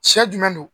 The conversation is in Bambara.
Sɛ jumɛn don